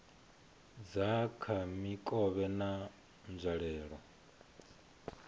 dza kha mikovhe na nzwalelo